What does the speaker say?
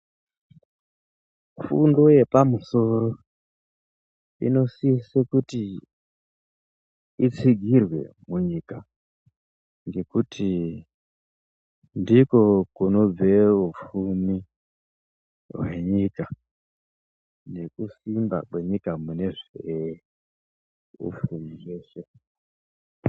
Fundo yepamusoro inosise kuti itsigirwe munyika ngokuti ndiko kunobve hupfumi hwenyika nekusimba kwenyika kune zvee hupfumi weshe.